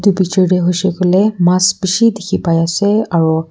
picture te hoise koile mass bishi dekhi pai ase aro--